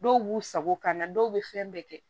Dɔw b'u sago ka na dɔw bɛ fɛn bɛɛ kɛ